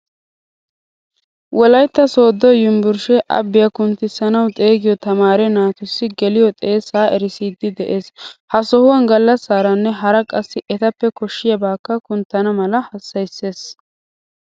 Wolaytta sodo yunvrshe abbiya kunttisanawu xeegiyo tamaare naatussi gelliyo xeessa erissidi de'ees. Ha sohuwan gallasaaranne hara qassi ettappe koshshiyabakka kunttana mala hassayisees.